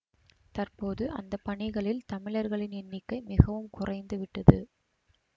தற்போது அந்த பணிகளில் தமிழர்களின் எண்ணிக்கை மிகவும் குறைந்து விட்டது